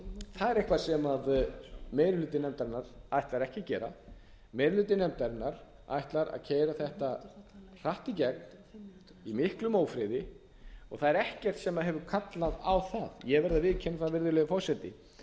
það er eitthvað sem meiri hluti nefndarinnar ætlar ekki að gera meiri hluti nefndarinnar ætlar að keyra þetta hratt í gegn í miklum ófriði og það er ekkert sem hefur kallað á það ég verð að viðurkenna það virðulegi forseti